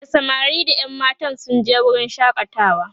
da samari da ƴan matan sun je wurin shakatawa